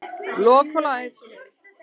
Lok og læs.